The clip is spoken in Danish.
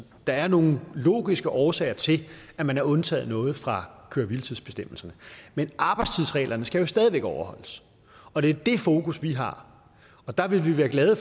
der er nogle logiske årsager til at man har undtaget noget fra køre hvile tids bestemmelserne men arbejdstidsreglerne skal jo stadig væk overholdes og det er det fokus vi har og der ville vi være glade